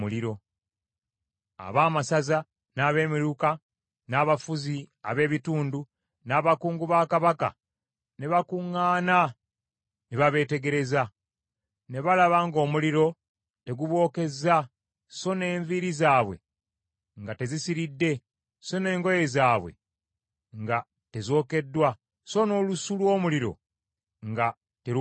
Abaamasaza, n’abemiruka, n’abafuzi ab’ebitundu, n’abakungu ba kabaka ne bakuŋŋaana ne babeetegereza. Ne balaba ng’omuliro tegubookezza, so n’enviiri zaabwe nga tezisiridde, so n’engoye zaabwe nga tezookeddwa, so n’olusu lw’omuliro nga terubawunyako.